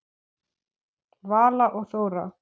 Vala og Þóra.